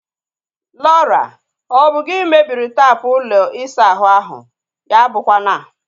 Laura! Ọ bụ gị mebiri taapụ ụlọ isa ahụ ahu? Ya abụkwa na